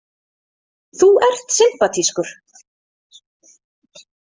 Þú ert sympatískur.